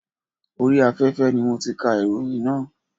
Orí afẹ́fẹ́ ni mo ti kà ìròyìn náà.